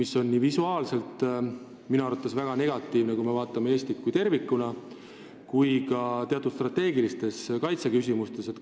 See on minu arvates väga negatiivne nii visuaalselt, kui me vaatame Eestit tervikuna, kui ka teatud strateegiliste kaitseküsimuste seisukohalt.